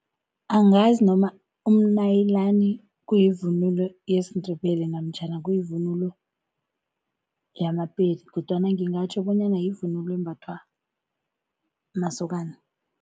Angazi noma umnayilani kuyivunulo yesiNdebele namtjhana kuyivunulo yama-Pedi kodwana ngingatjho bonyana yivunulo embathwa masokana.